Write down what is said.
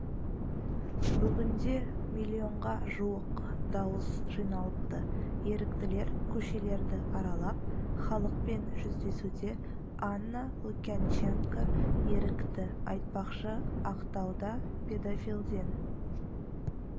бүгінде миллионға жуық дауыс жиналыпты еріктілер көшелерді аралап халықпен жүздесуде анна лукьянченко ерікті айтпақшы ақтауда педофилден